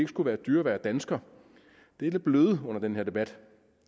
skulle være dyrere at være dansker det er det blevet under den her debat